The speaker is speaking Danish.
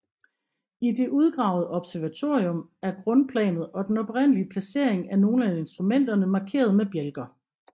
I det udgravede observatorium er grundplanet og den oprindelige placering af nogle af instrumenterne markeret med bjælker